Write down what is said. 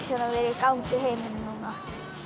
vera í gangi í heiminum núna